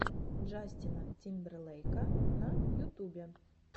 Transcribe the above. джастина тимберлейка на ютубе